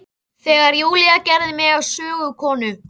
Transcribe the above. Ég veit ekki hvað tekur við að henni lokinni.